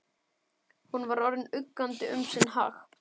Hún var orðin uggandi um sinn hag.